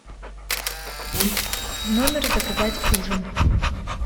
в номер заказать ужин